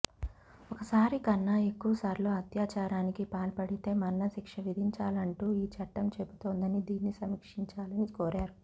ఒకసారి కన్నా ఎక్కువ సార్లు అత్యాచారానికి పాల్పడితే మరణ శిక్ష విధించాలంటూ ఈ చట్టం చెబుతోందని దీన్ని సమీక్షించాలని కోరారు